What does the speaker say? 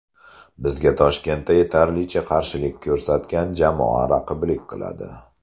Bizga Toshkentda yetarlicha qarshilik ko‘rsatgan jamoa raqiblik qiladi.